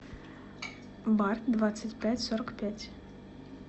бар двадцать пять сорок пять